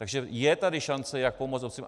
Takže je tady šance jak pomoct obcím.